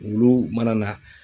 Wlu mana na.